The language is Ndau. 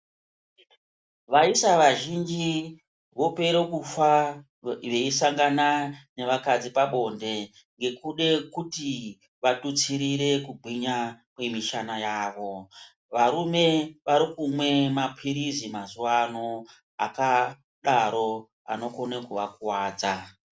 Vaisa vazhinji wopere kufa weisangana nevakadzi pabonde ngekude kuti watutsirire kugwinya kwemishana yawo, varume warikumwe mapirizi mazuvaano akadaro anokone kuvakuwadza